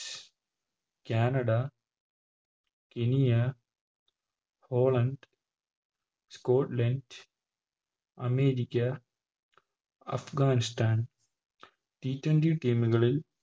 Canada Kenya Poland Scotland America Afghanistan T twenty team കളിൽ